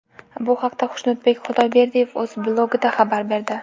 Bu haqda Xushnudbek Xudayberdiyev o‘z blogida xabar berdi .